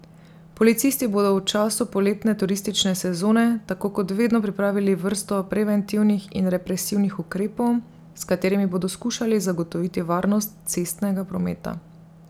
Policisti bodo v času poletne turistične sezone tako kot vedno pripravili vrsto preventivnih in represivnih ukrepov, s katerimi bodo skušali zagotoviti varnost cestnega prometa.